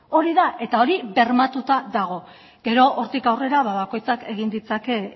hori da eta hori bermatuta dago gero hortik aurrera ba bakoitzak egin ditzake